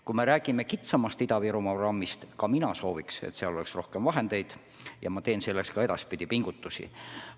Kui me räägime kitsamast Ida-Virumaa programmist, siis ka mina sooviks, et seal oleks rohkem vahendeid, ja ma teen selleks ka edaspidi pingutusi.